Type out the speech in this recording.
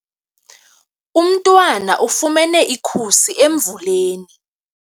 Umntwana ufumene ikhusi emvuleni.